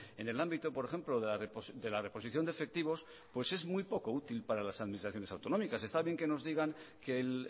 en el ámbito por ejemplo de la reposición de efectivos es muy poco útil para las administraciones autonómicas está bien que nos digan que el